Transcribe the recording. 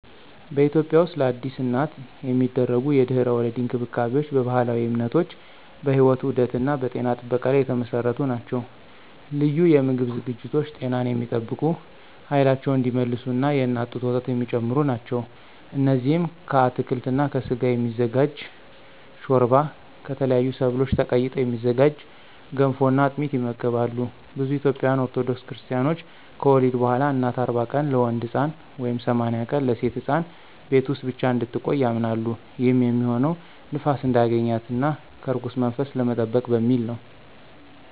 በኢትዮጵያ ውስጥለአዲስ እናት የሚደረጉ የድህረ-ወሊድ እንክብካቤዎች በባህላዊ እምነቶች፣ በሕይወት ዑደት እና በጤና ጥበቃ ላይ የተመሰረቱ ናቸው። ልዩ የምግብ ዝግጅቶች ጤናን የሚጠብቁ፣ ኃይላቸውን እንዲመልሱ እና የእናት ጡት ወተት የሚጨምሩ ናቸው። እነዚህም ከአትክልት እና ከስጋ የሚዘጋጅ ሾርባ፣ ከተለያዩ ሰብሎች ተቀይጠው የሚዘጋጁ ገንፎ እና አጥሚት ይመገባሉ። ብዙ ኢትዮጵያውያን ኦርቶዶክስ ክርስታኖች ከወሊድ በኋላ እናት 40 ቀናት (ለወንድ ሕፃን) ወይም 80 ቀናት (ለሴት ሕፃን) ቤት ውስጥ ብቻ እንድትቆይ ያምናሉ። ይህም የሚሆነው ንፋስ እንዳያገኛት እና ከርኩስ መንፈስ ለመጠበቅ በሚል ነው።